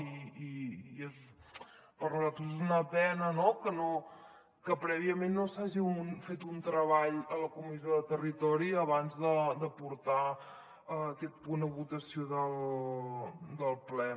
i per nosaltres és una pena que prèviament no s’hagi fet un treball a la comissió de territori abans de portar aquest punt a votació del ple